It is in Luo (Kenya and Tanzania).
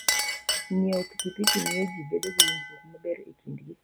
Ng'iewo pikipiki miyo ji bedo gi winjruok maber e kindgi.